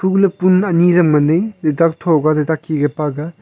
kune pung ne ani azam ngan tai tuta tho ka tuta khi ka paka.